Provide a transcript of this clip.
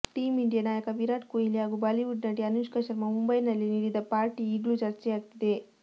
team India ನಾಯಕ ವಿರಾಟ್ ಕೊಹ್ಲಿ ಹಾಗೂ ಬಾಲಿವುಡ್ ನಟಿ ಅನುಷ್ಕಾ ಶರ್ಮಾ ಮುಂಬೈನಲ್ಲಿ ನೀಡಿದ ಪಾರ್ಟಿ ಈಗ್ಲೂ ಚರ್ಚೆಯಾಗ್ತಿದೆ